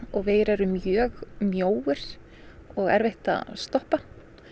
og vegir eru mjög mjóir og erfitt að stoppa